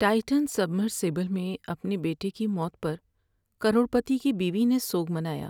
Titan submersible میں اپنے بیٹے کی موت پر کروڑ پتی کی بیوی نے سوگ منایا۔